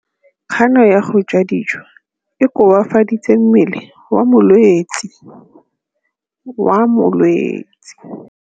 Kganô ya go ja dijo e koafaditse mmele wa molwetse.